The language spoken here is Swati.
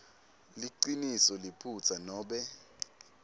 liciniso liphutsa nobe